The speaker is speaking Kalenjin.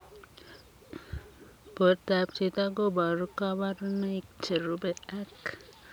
Portoop chitoo kobaruu kabarunaik cherubei ak